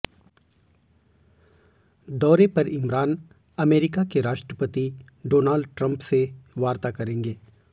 दौरे पर इमरान अमेरिका के राष्ट्रपति डोनाल्ड ट्रंप से वार्ता करेंगे